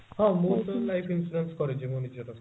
ହଁ ମୁଁ ତ life insurance କରିଛି ମୋ ନିଜର